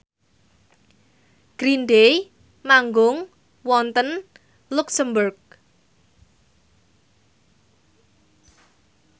Green Day manggung wonten luxemburg